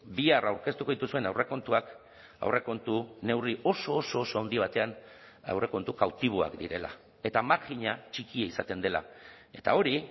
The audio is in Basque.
bihar aurkeztuko dituzuen aurrekontuak aurrekontu neurri oso oso oso handi batean aurrekontu kautiboak direla eta marjina txikia izaten dela eta hori